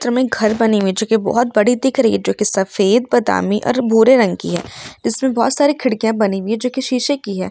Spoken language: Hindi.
जो मे घर बनी हुई है जो की बहुत बडी दिख रही है| जो की सफेद बादामी और भूरे रंग की है | इसमे बहुत सारी खिड़किया बनी हुई है जो की शीशे की है।